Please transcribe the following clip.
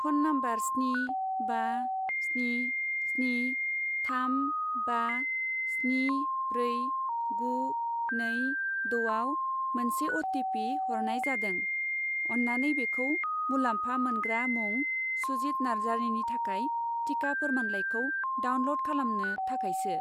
Phone number स्नि बा स्नि स्नि थाम बा स्नि ब्रै गु नै द' आव मोनसे अ.टि.पि. हरनाय जादों। अन्नानै बेखौ मुलाम्फा मोनग्रा मुं सुजिथ नार्जारिनि थाखाय टिका फोरमानलाइखौ डाउनल'ड खालामनो थाखाय सो।